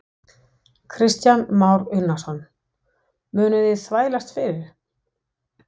Kristján Már Unnarsson: Munuð þið þvælast fyrir?